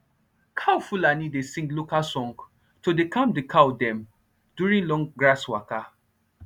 cow fulani dey sing local song to dey calm d cow dem during long grass waka